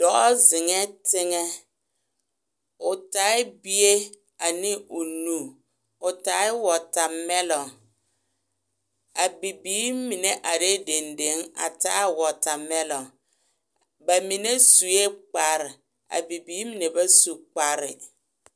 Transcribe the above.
Dɔɔ zeŋɛɛ teŋɛ o taa bie ane o nu o taa yɛ wɔɔtamɛɛlɔŋ a bibiiri mine are dendeŋ a taa wɔɔtamɛɛlɔŋ bamine su kpare a bibiiri mine ba su kpare